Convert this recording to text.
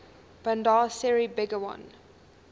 bandar seri begawan